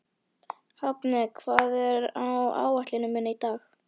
Hafni, hvað er á áætluninni minni í dag?